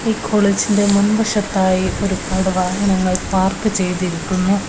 ഈ കോളേജിന്റെ മുൻവശത്തായി ഒരുപാട് വാഹനങ്ങൾ പാർക്ക് ചെയ്തിരിക്കുന്നു.